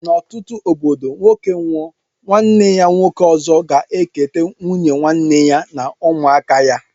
N' ọtụtụ obodo nwoke nwụọ nwanne ya nwoke ọzọ ga eketa nwụnye nwanne ya na ụmụaka ya.